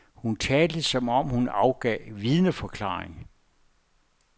Hun talte som om hun afgav vidneforklaring.